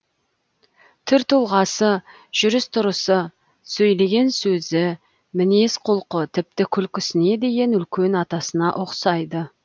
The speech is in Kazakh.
түр тұлғасы жүріс тұрысы сөйлеген сөзі мінез құлқы тіпті күлкісіне дейін үлкен атасына ұқсайды